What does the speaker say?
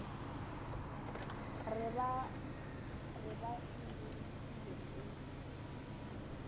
re ba e rutilwe ke